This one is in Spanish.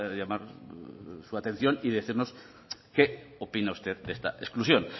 llamar su atención y decirnos qué opina usted de esta exclusión